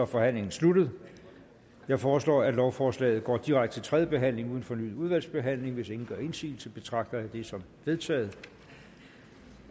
forhandlingen sluttet jeg foreslår at lovforslaget går direkte til tredje behandling uden fornyet udvalgsbehandling hvis ingen gør indsigelse betragter jeg det som vedtaget